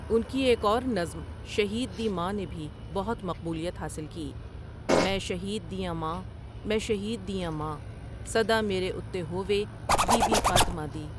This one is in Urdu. ان کی ایک اور نظم شہید دی ماں نے بھی بہت مقبولیت حاصل کی میں شہید دی آں ماں، میں شہید دی آں ماں سدا میرے اُتّے ہووے بی بی فاطمہ دی ۔